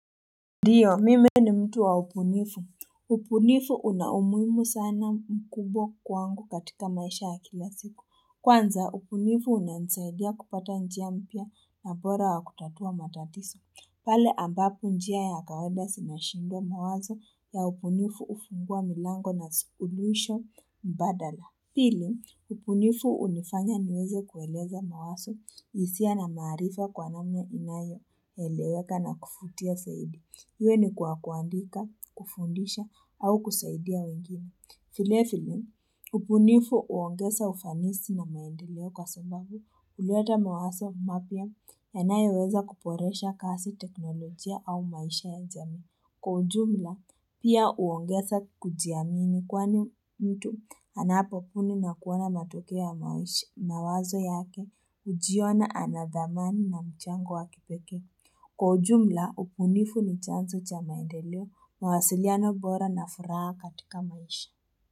Ndiyo mimi ni mtu wa ubunifu ubunifu unaumuhimu sana mkubwa kwangu katika maisha ya kila siku Kwanza ubunifu unansaidia kupata njia mpya na bora wa kutatua matatizo pale ambapo njia ya kawaida sinashinda mawazo ya ubunifu ufungua milango na suluisho mbadala Pili, ubunifu unifanya niweze kueleza mawazo hisia na maarifa kwa namna inayoeleweka na kuvutia zaidi. Iwe ni kwa kuandika, kufundisha, au kusaidia wengine. Vile vile, ubunifu uongeza ufanisi na maendeleo kwa sambabu. Huleta mawazo mapya yanayoweza kuboresha kazi teknolojia au maisha ya jamii. Kwa ujumla, pia uongeza kujiamini kwani mtu anapobuni na kuona matuko ya mawazo yake ujiona anadhamani na mchango wa kipekee. Kwa ujumla, ubunifu ni chanzo cha maendeleo mawasiliano bora na furaha katika maishi.